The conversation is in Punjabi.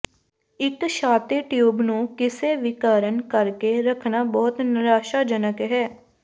ਇੱਕ ਛਾਤੀ ਟਿਊਬ ਨੂੰ ਕਿਸੇ ਵੀ ਕਾਰਨ ਕਰਕੇ ਰੱਖਣਾ ਬਹੁਤ ਨਿਰਾਸ਼ਾਜਨਕ ਹੈ